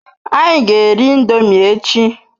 Anyi g'eri indomi echi